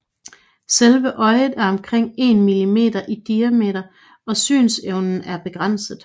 Selve øjet er omkring 1 millimeter i diameter og synsevnen er begrænset